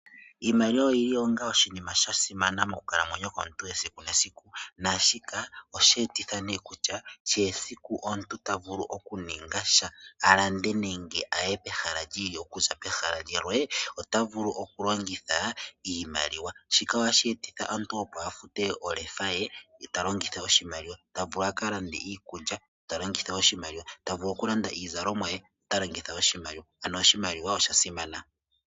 Iimaliwa oyo onga oshinima sha simana moonkalamwenyo dhetu dhe siku nesiku, nashika osha etitha ne kutya, kehe esiku omuntu ta vulu oku ninga sha, alande nenge aye pehala limwe okuza pehala limwe, ota vulu oku longitha iimaliwa, shika ohashi etitha omuntu opo afute olefa yaye, ye ta longitha oshimaliwa ta vulu aka lande iikulya ta longitha oshimaliwa, ta vulu oku landa iizalomwa yaye, ta longitha oshimaliwa, ano oshomaliwa osha simana.